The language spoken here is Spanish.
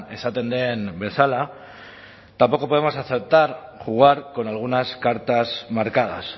esaten den bezala tampoco podemos aceptar jugar con algunas cartas marcadas